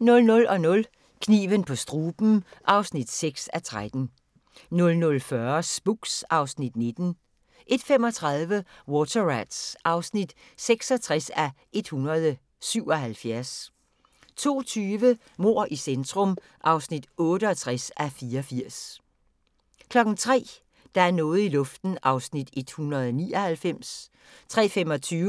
00:00: Kniven på struben (6:13) 00:40: Spooks (Afs. 19) 01:35: Water Rats (66:177) 02:20: Mord i centrum (68:84) 03:00: Der er noget i luften (199:320) 03:25: